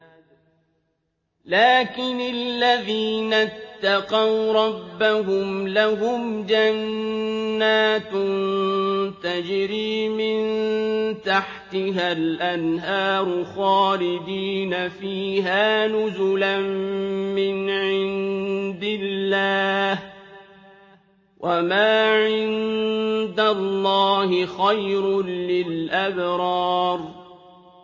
لَٰكِنِ الَّذِينَ اتَّقَوْا رَبَّهُمْ لَهُمْ جَنَّاتٌ تَجْرِي مِن تَحْتِهَا الْأَنْهَارُ خَالِدِينَ فِيهَا نُزُلًا مِّنْ عِندِ اللَّهِ ۗ وَمَا عِندَ اللَّهِ خَيْرٌ لِّلْأَبْرَارِ